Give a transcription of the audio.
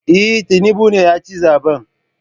Eh, Tinubu ne yaci zaben